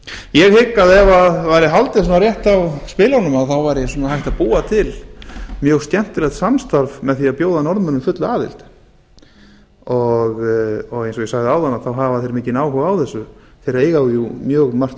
ég hygg að ef það væri haldið rétt á spilunum þá væri hægt að búa til mjög skemmtilegt samstarf með því að bjóða norðmönnum fulla aðild eins og ég sagði áðan hafa þeir mikinn áhuga á þessu þeir eiga jú mjög margt